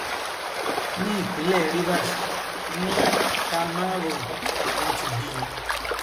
ní ìpínlẹ rivers ní kamárom ni wọn ti bí i